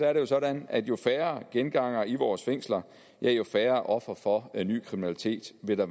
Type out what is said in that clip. er det jo sådan at jo færre gengangere i vores fængsler jo færre ofre for ny kriminalitet vil der